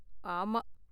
ஆமா.